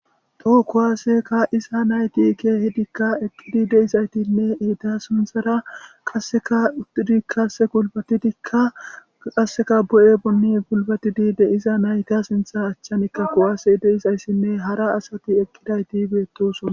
To kuwase ka'iza nayti keehidika eqi de'izaytinne eta sinthara qaseka uttidi qase gulbatidika de'izaytinne qase eta achan kuwaasey de'izaytinne hara asati de'izayssi betosona